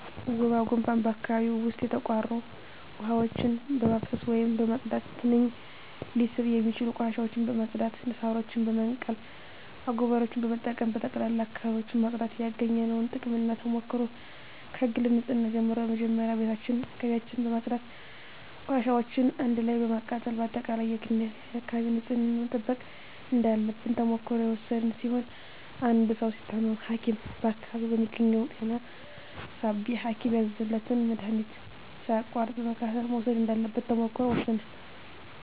ወባ ጉንፋን በአካባቢው ዉስጥ የተቋሩ ዉሀዎችን በማፋሰስ ወይም በማፅዳት ትንኝ ሊስቡ የሚችሉ ቆሻሻዎችን በማፅዳት ሳሮችን በመንቀል አጎበሮችን በመጠቀም በጠቅላላ አካባቢዎችን ማፅዳት ያገኘነዉ ጥቅምና ተሞክሮ ከግል ንፅህና ጀምሮ መጀመሪያ ቤታችን አካባቢያችን በማፅዳት ቆሻሻዎችን አንድ ላይ በማቃጠል በአጠቃላይ የግልና የአካባቢ ንፅህናን መጠበቅ እንዳለብን ተሞክሮ የወሰድን ሲሆን አንድ ሰዉ ሲታመም ሀኪም በአካባቢው በሚገኘዉ ጤና ጣቢያ ሀኪም ያዘዘለትን መድሀኒት ሳያቋርጥ በመከታተል መዉሰድ እንዳለበት ተሞክሮ ወስደናል